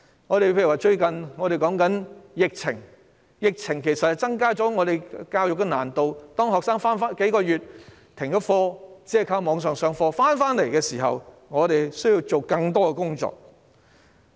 又例如最近的疫情增加了教育的難度，學生已停課數月，只靠網上授課，當他們回校復課時，我們需要做更多的工作。